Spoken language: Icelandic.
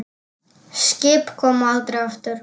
Skip koma aldrei aftur.